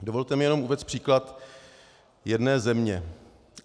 Dovolte mi jenom uvést příklad jedné země.